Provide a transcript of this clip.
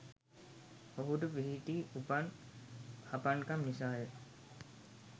ඔහුට පිහිටි උපන් හපන්කම නිසාය.